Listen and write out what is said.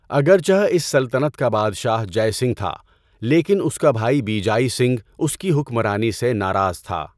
اگرچہ اس سلطنت کا بادشاہ جَے سنگھ تھا لیکن اس کا بھائی بیجائی سنگھ اس کی حکمرانی سے ناراض تھا۔